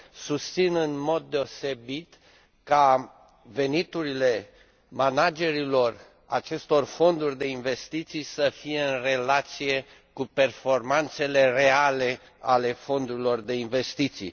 Susțin, în mod deosebit, ca veniturile managerilor acestor fonduri de investiții să fie în relație cu performanțele reale ale fondurilor de investiții.